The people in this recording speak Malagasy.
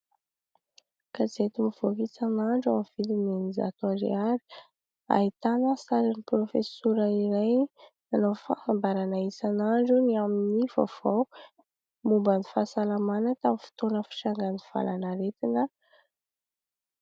Gazety mivoaka isan'andro amin'ny vidina eninjato ariary, ahitana sarin'ny profesora iray nanao fanambarana isan'andro ny amin'ny vaovao momba ny fahasalamana tamin'ny fotoana fitrangan'ny valanaretina.